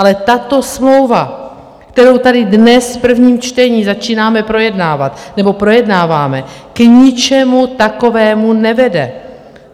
Ale tato smlouva, kterou tady dnes v prvním čtení začínáme projednávat, nebo projednáváme, k ničemu takovému nevede.